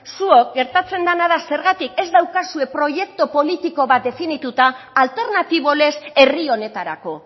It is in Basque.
zuok gertatzen dana da zergatik ez daukazue proiektu politiko bat definituta alternatibo lez herri honetarako